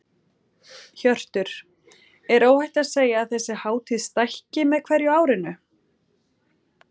Hjörtur: Er óhætt að segja að þessi hátíð stækki með hverju árinu?